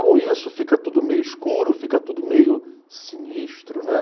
Com isso, fica tudo meio escuro, fica tudo meio sinistro, né